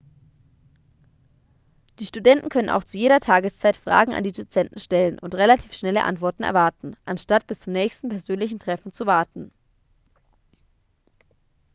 die studenten können auch zu jeder tageszeit fragen an die dozenten stellen und relativ schnelle antworten erwarten anstatt bis zum nächsten persönlichen treffen zu warten